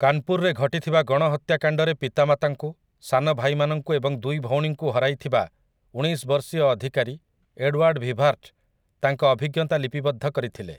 କାନ୍‌ପୁର୍‌ରେ ଘଟିଥିବା ଗଣହତ୍ୟାକାଣ୍ଡରେ ପିତାମାତାଙ୍କୁ, ସାନ ଭାଇମାନଙ୍କୁ ଏବଂ ଦୁଇ ଭଉଣୀଙ୍କୁ ହରାଇଥିବା ଉଣେଇଶ ବର୍ଷୀୟ ଅଧିକାରୀ ଏଡୱାର୍ଡ୍ ଭିବାର୍ଟ୍ ତାଙ୍କ ଅଭିଜ୍ଞତା ଲିପିବଦ୍ଧ କରିଥିଲେ ।